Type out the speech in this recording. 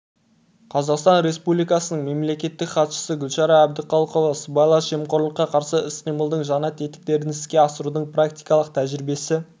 қазақстан республикасының мемлекеттік хатшысы гүлшара әбдіқалықова сыбайлас жемқорлыққа қарсы іс-қимылдың жаңа тетіктерін іске асырудың практикалық тәжірибесі